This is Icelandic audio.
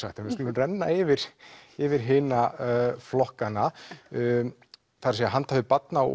skulum renna yfir yfir hina flokkana handhafi Barna og